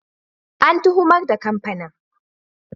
An tuhumar da kamfanin.